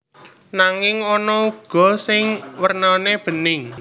Nanging ana uga sing wernane bening